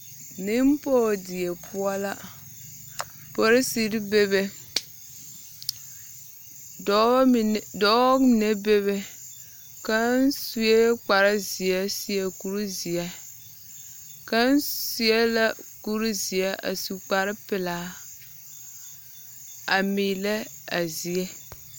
Nempͻge die poͻ la. Polisiri bebe, dͻbͻ mine dͻͻ mine bebe. Kaŋa sue kpare zeԑ a seԑ kurizeԑ. Kaŋ seԑ la kuri zeԑ a su kpare pelaa a meelԑ a zie.